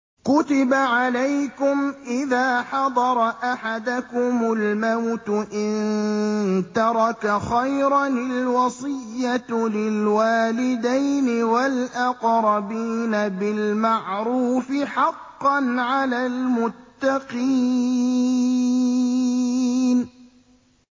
كُتِبَ عَلَيْكُمْ إِذَا حَضَرَ أَحَدَكُمُ الْمَوْتُ إِن تَرَكَ خَيْرًا الْوَصِيَّةُ لِلْوَالِدَيْنِ وَالْأَقْرَبِينَ بِالْمَعْرُوفِ ۖ حَقًّا عَلَى الْمُتَّقِينَ